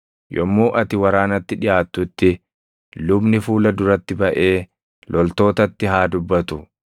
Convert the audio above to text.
Yommuu ati waraanatti dhiʼaattutti lubni fuula duratti baʼee loltootatti haa dubbatu.